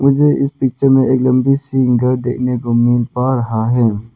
मुझे इस पिक्चर में एक लंबी सी देखने को मिल पा रहा है।